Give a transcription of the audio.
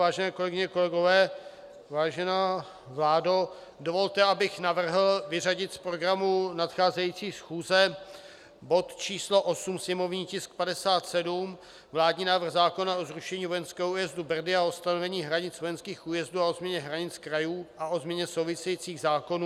Vážené kolegyně, kolegové, vážená vládo, dovolte, abych navrhl vyřadit z programu nadcházející schůze bod číslo 8, sněmovní tisk 57 - Vládní návrh zákona o zrušení vojenského újezdu Brdy a o stanovení hranic vojenských újezdů a o změně hranic krajů a o změně souvisejících zákonů.